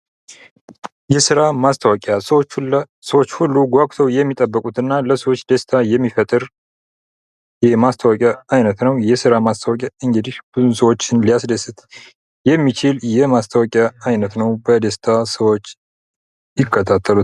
የስራ ማስታወቅያ ሰዎች ሁሉ ጓጉተው የሚጠብቁት እና ለሰዎች ደስታ የሚፈጠር የማስታወቂያ ዓይነት ነው። ይህ የሥራ ማስታወቂያ እንግዲህ ብዙ ሰዎችን ለማስደሰት የሚችል የማስታወቂያ አይነት ነው። በደስታ ሰዎች ይከታተሉታል።